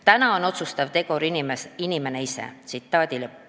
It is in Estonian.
Täna on otsustav tegur inimene ise.